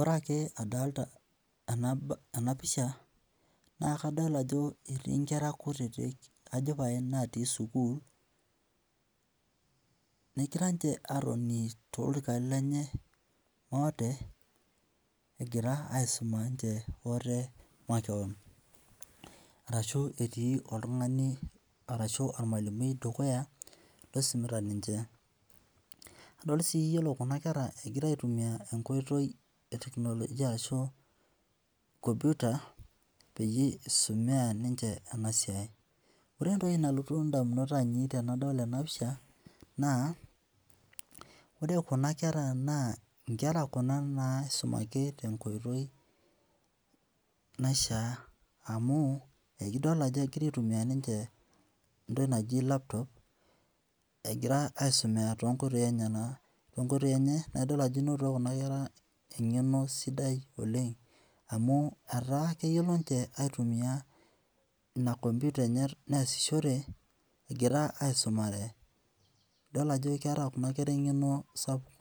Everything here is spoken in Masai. Ore ake adolita ena pisha naa kadol ajo etii inkera kutiti ajo pae natii sukuul negira ninche aatoni toolorikan lenye maate egira aisuma ninche ate makeon arashu etii oltung'ani arashu ormalimui dukuya loisumita ninche. Adol sii iyiolo kuna kera egira aitumia enkoitoi e teknolojia ashu e computer peyie isumia ninche ena siai. Ore entoki nalotu indamunot ainei tenadol ena pisha naa ore kuna kera naa inkera kuna naaisumaki tenkoitoi naishaa amu ekidol ajo egira aitumia ninche intokiting naaji laptop egira aisumea toonkoitoi enyenak, toonkoitoi enye, naidol qjo inotito kuna kera eng'eno sidai oleng amu etaa keyiolo ninche aitumia ina computer enye neesishore egira aisumare. Idol ajo keeta kuna kera eng'eno sapuk